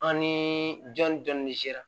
An ni jɔn ni dɔnni sera